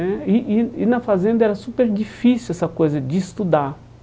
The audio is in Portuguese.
É e e e na fazenda era super difícil essa coisa de estudar.